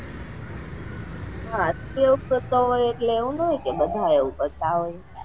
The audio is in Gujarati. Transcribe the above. હા તું એવું કરતો હોય એટલે એવું નાં હોય કે બધાય એવું કરતા હોય.